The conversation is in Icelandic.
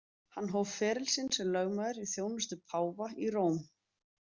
Hann hóf feril sinn sem lögmaður í þjónustu páfa í Róm.